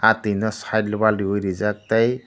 ah twino side o wall riwui rijak tei.